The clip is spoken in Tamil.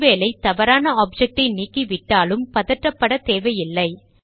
ஒரு வேளை தவறான ஆப்ஜக்டை நீக்கிவிட்டாலும் பதட்டப்பட தேவையில்லை